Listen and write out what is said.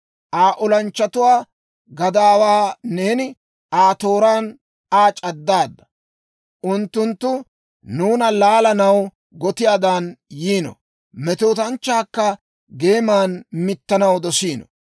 Aa olanchchatuwaa gadaawaa neeni Aa tooraan Aa c'addaadda. Unttunttu nuuna laalanaw gotiyaadan yiino; metootanchchaakka geeman mittanaw dosiino.